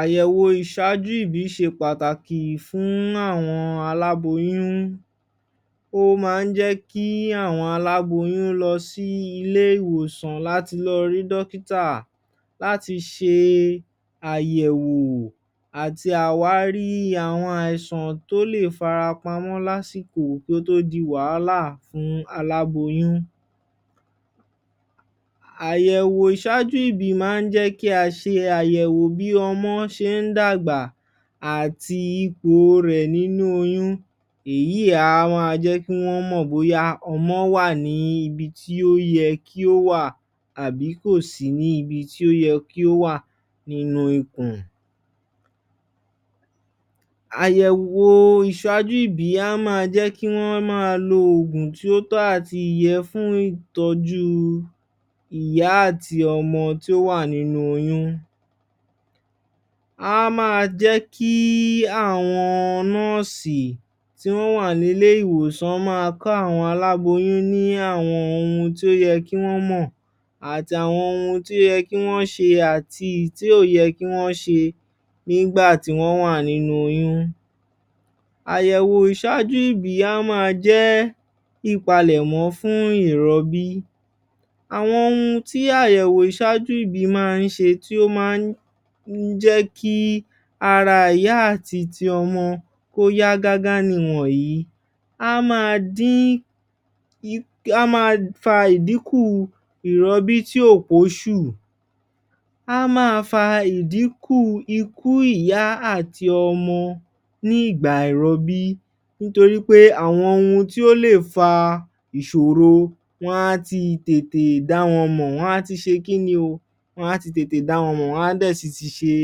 Àyẹ̀wò ìṣáájú Ìbí ṣe pàtàkì fún àwọn Aláboyún ó máa ń jẹ́ kí àwọn Aláboyún lọ sí ilé-ìwòsàn láti lọ rí dókítà láti ṣe àyẹ̀wò àti àwárí àwọn àìsàn tí ó lè fara pamọ́ lásìkò kí ó tó di wàhálà fún Aláboyún Àyẹ̀wò ìṣáájú Ìbí máa ń jẹ́ kí a ṣe àyẹ̀wò bí ọmọ ṣe ń dàgbà àti ipò rẹ̀ nínú oyún, eyí a ma jẹ́ kí wọ́n mọ̀ bóyá ọmọ wà ní ibi tí ó yẹ kí ó wà àbí kò sí níbi tí ó yẹ kí ó wà nínú ikùn. Àyẹ̀wò ìṣáájú Ìbí á ma jẹ́ kí wọn ma lo Oògùn tí ó tọ́ àtìyẹ fún ìtọ́jú ìyá àti ọmọ tí ó wà nínú oyún á ma jẹ́ kí àwọn nọ́ọ̀sì tí wọ́n wà ní ilé-ìwòsàn ma kọ́ àwọn Aláboyún ní àwọn ohun tí ó yẹ kí wọ́n mọ̀ àti àwọn ohun tó yẹ kí wọ́n ṣe àti àwọn ohun tí kòyẹ kí wọ́n ṣe nígbà tí wọ́n wà nínú oyún Àyẹ̀wò ìṣáájú Ìbí á má jẹ́ ìpálẹ̀mọ́ fún ìrọ́bí Àwọn ohun tí àyẹ̀wò ìṣáájú Ìbí máa ń ṣe tí ó máa ń jẹ́ kí ara ìyá àti ti ọmọ kóyá gágá ni wọ̀nyìí Á má dí á má fa ìdíkùn ìrọ́bí tí ò pọ́ṣù á ma fa ìdíkùn ikú ìyá àti ọmọ nígbà ìrọ́bí nítorí pé àwọn ohun tí ó lè fa ìṣòro wọn á ti tètè dá wọn mọ̀, wọ́n á ti ṣe kínni o? wọ́n á ti tètè dá wọn mọ, wọ́n á dẹ̀ á sì ti ṣe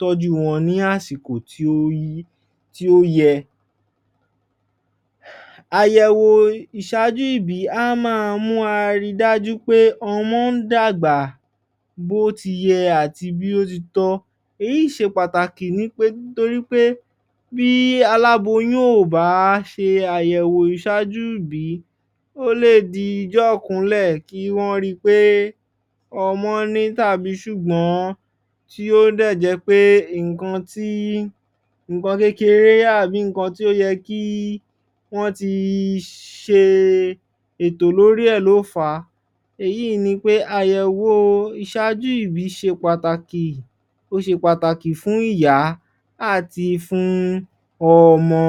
tọ́jú wọn ní àsìkò tí ó yí tí ó yẹ Àyẹ̀wò ìṣáájú Ìbí á ma mú àrídájú pé ọmọ ń dàgbà bí ó ti yẹ àti bí ó ti tọ́ Èyí ṣe pàtàkì ni pé nítorí pé bí Aláboyún ò bá ṣe àyẹ̀wò ìṣáájú Ìbí ó lè di ọjọ́ ìkúnlẹ̀ kí wọ́n ri pe ọmọ ní tàbí ṣùgbọ́n tí ó dẹ̀ jẹ́ pé nǹkan ti nnkan kékeré àbí nǹkan tí ó yẹ kí wọ́n ti ṣe ètò lórí rẹ̀ ló fà á èyí ní pe àyẹ̀wò ìṣáájú Ìbí ṣe pàtàkì ó ṣe pàtàkì fún ìyá àti fún ọmọ.